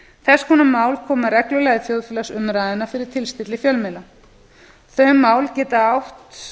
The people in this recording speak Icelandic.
þess konar mál koma reglulega í þjóðfélagsumræðuna fyrir tilstilli fjölmiðla þau mál geta átt